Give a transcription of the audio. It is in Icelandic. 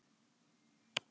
Kaupmáttur hækkar